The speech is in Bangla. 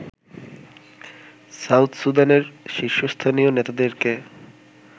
সাউথ সুদানের শীর্ষস্থানীয় নেতাদেরকে